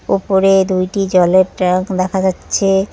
উপরে দুইটি জলের ট্যাঙ্ক দেখা যাচ্ছে।